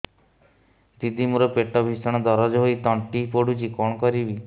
ଦିଦି ମୋର ପେଟ ଭୀଷଣ ଦରଜ ହୋଇ ତଣ୍ଟି ପୋଡୁଛି କଣ କରିବି